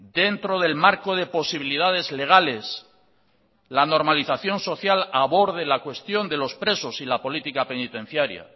dentro del marco de posibilidades legales la normalización social aborde la cuestión de los presos y la política penitenciaria